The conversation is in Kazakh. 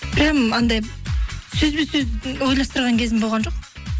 прям анандай сөзбе сөз ойластырған кезім болған жоқ